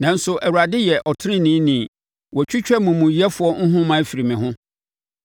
Nanso Awurade yɛ ɔteneneeni; Watwitwa amumuyɛfoɔ nhoma afiri me ho.”